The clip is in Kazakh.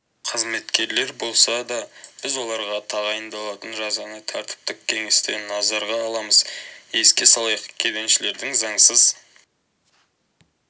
қызметкерлер болса да біз оларға тағайындалатын жазаны тәртіптік кеңесте назарға аламыз еске салайық кеденшілердің заңсыз